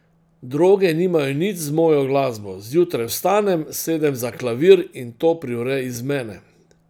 Droge nimajo nič z mojo glasbo, zjutraj vstanem, sedem za klavir in to privre iz mene.